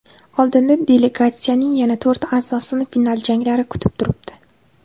Oldinda delegatsiyaning yana to‘rt a’zosini final janglari kutib turibdi.